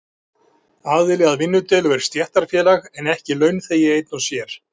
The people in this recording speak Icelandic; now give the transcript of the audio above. Aðili að vinnudeilu er stéttarfélag en ekki launþegi einn og sér.